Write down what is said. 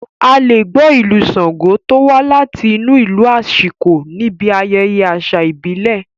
A lè gbọ́ Ìlù Ṣango tó wá láti inú ìlù aṣíko níbi ayẹyẹ àṣà ìbílẹ̀